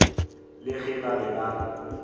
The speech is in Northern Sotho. le ge ba be ba